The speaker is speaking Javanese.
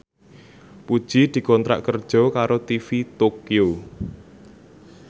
Puji dikontrak kerja karo TV Tokyo